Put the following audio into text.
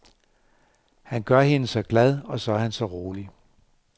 Han gør hende så glad, og så er han så rolig.